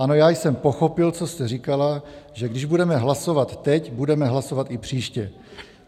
Ano, já jsem pochopil, co jste říkala, že když budeme hlasovat teď, budeme hlasovat i příště.